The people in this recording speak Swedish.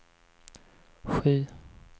sju